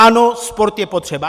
Ano, sport je potřeba.